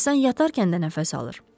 İnsan yatarkən də nəfəs alır.